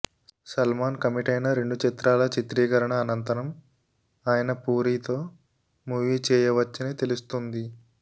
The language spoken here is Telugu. సల్మాన్ కమిటైన రెండు చిత్రాల చిత్రీకరణ అనంతరం ఆయన పూరితో మూవీ చేయవచ్చని తెలుస్తుంది